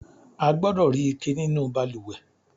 A gbọdọ̀ rí ike nínú balùwẹ̀.